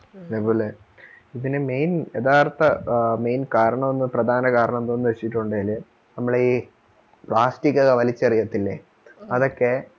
അതേപോലെ ഇതിന് main യഥാർത്ഥ main കാരണം പ്രധാന കാരണം എന്താണ് വെച്ചിട്ടുണ്ടേൽ നമ്മൾ ഈ പ്ലാസ്റ്റിക് ഒക്കെ വലിച്ചെറിയത്തില്ലേ, അതൊക്കെ